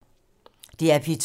DR P2